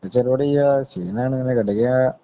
പ്രത്യേകിച്ച് പരിപാടിയില്ല. ക്ഷീണം കാരണം ഇങ്ങനെ കിടക്ക്യ